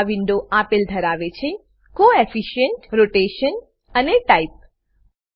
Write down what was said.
આ વીન્ડો આપલે ધરાવે છે કોએફિશિયન્ટ કોઓફિસંટ રોટેશન રોટેશનઅને ટાઇપ ટાઈપ